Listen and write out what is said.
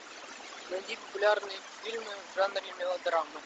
найди популярные фильмы в жанре мелодрамы